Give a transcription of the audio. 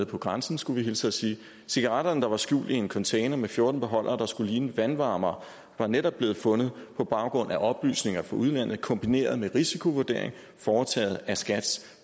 på grænsen skulle vi hilse og sige cigaretterne der var skjult i en container med fjorten beholdere der skulle ligne vandvarmere var netop blevet fundet på baggrund af oplysninger fra udlandet kombineret med en risikovurdering foretaget af skats